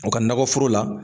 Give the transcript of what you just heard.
u ka nakɔforo la.